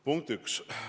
Punkt 1.